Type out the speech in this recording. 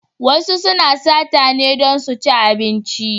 Wasu suna sata ne don su ci abinci.